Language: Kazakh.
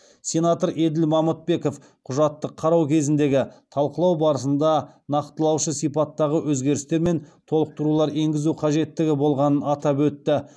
сенатор еділ мамытбеков құжатты қарау кезіндегі талқылау барысында нақтылаушы сипаттағы өзгерістер мен толықтырулар енгізу қажеттігі болғанын атап өтті